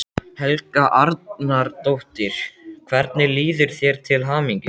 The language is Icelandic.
Helga Arnardóttir: Hvernig líður þér, til hamingju?